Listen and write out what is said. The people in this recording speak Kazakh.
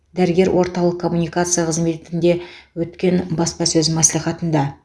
дәрігер орталық коммуникация қызметінде өткен баспасөз мәслихатында